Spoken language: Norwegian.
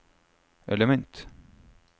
element